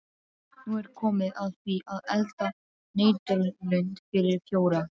Nú er komið að því að elda nautalund fyrir fjóra.